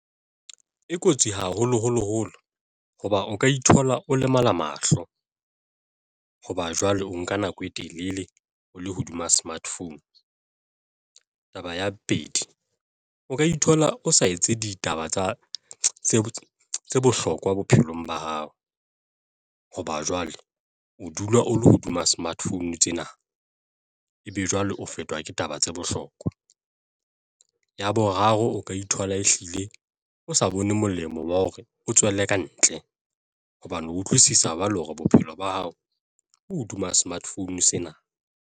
E kotsi haholoholo holo hoba o ka ithola o lemala mahlo hoba jwale o nka nako e telele o le hodima smart phone. Taba ya bobedi, o ka ithola o sa etse ditaba tsa bohlokwa bophelong ba hao hoba jwale o dula o le hodima smart phone tsena, ebe jwale o fetwa ke taba tse bohlokwa. Ya boraro, o ka ithola ehlile o sa bone molemo wa hore o tswelle ka ntle hobane o utlwisisa jwale hore bophelo ba hao bo hodima smart phone sena.